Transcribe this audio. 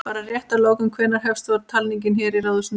Bara rétt að lokum, hvenær hefst svo talning hér í Ráðhúsinu?